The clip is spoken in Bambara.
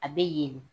A bɛ yelen